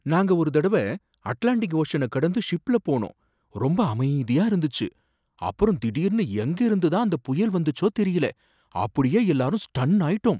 நாங்க ஒரு தடவ அட்லாண்டிக் ஓஷன கடந்து ஷிப்ல போனோம், ரொம்ப அமைதியா இருந்துச்சு. அப்புறம் திடீர்னு எங்கயிருந்து தான் அந்த புயல் வந்துச்சோ தெரியல, அப்படியே எல்லாரும் ஸ்டன்னாயிட்டோம்!